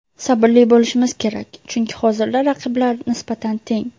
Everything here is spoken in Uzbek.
Sabrli bo‘lishmiz kerak, chunki hozirda raqiblar nisbatan teng.